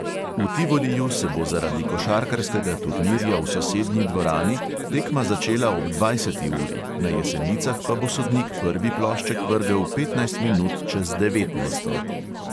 V tivoliju se bo zaradi košarkarskega turnirja v sosednji dvorani tekma začela ob dvajseti uri, na jesenicah pa bo sodnik prvi plošček vrgel petnajst minut čez devetnajsto.